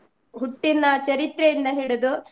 ಹುಟ್ಟಿನ ಚರಿತ್ರೆಯಿಂದ ಹಿಡಿದು.